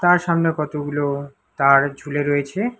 আর সামনে কতগুলো তার ঝুলে রয়েছে।